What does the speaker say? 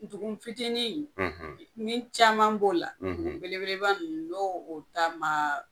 Dugun fitinin ni caman b'o la , dugun belebeleba nunnu n'o ta ma